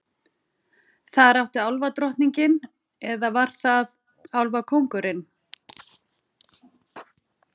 Þar átti álfadrottningin- eða var það álfakóngurinn?